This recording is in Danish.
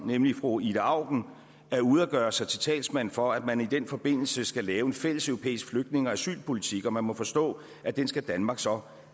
nemlig fru ida auken er ude at gøre sig til talsmand for at man i den forbindelse skal lave en fælles europæisk flygtninge og asylpolitik og man må forstå at den skal danmark så